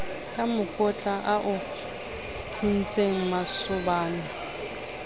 ka mokotla a o phuntsemasobana